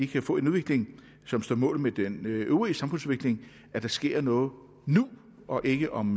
kan få en udvikling som står mål med den øvrige samfundsudvikling at der sker noget nu og ikke om